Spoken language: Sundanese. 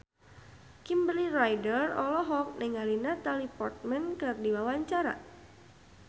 Kimberly Ryder olohok ningali Natalie Portman keur diwawancara